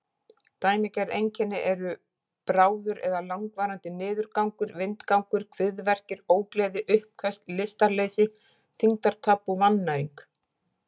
Dæmigerð einkenni eru bráður eða langvarandi niðurgangur, vindgangur, kviðverkir, ógleði, uppköst, lystarleysi, þyngdartap og vannæring.